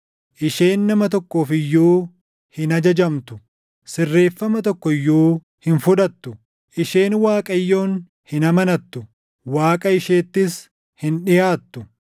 Isheen nama tokkoof iyyuu hin ajajamtu; sirreeffama tokko iyyuu hin fudhattu. Isheen Waaqayyoon hin amanattu; Waaqa isheettis hin dhiʼaattu.